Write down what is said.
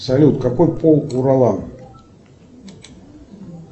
салют какой пол у ролан